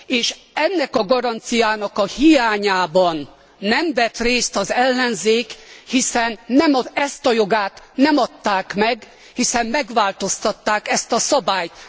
És ennek a garanciának a hiányában nem vett részt az ellenzék, hiszen nem ezt a jogát nem adták meg, hiszen megváltoztatták ezt a szabályt.